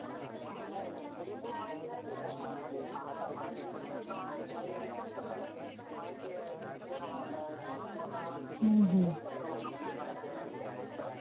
नाही नाही. पुरेपूर माहिती नाही देऊ शकणार. म्हणजे आता इकडचा आहे या एरिया मधलं मला माहिती आहे. इथे राहत आहे म्हणून मला जास्त प्रमाणामध्ये माहिती आहे त्याबद्दल.